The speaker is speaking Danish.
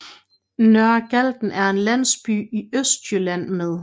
Nørre Galten er en landsby i Østjylland med